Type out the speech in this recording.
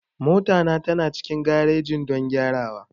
Mota na tana cikin garejin don gyarawa.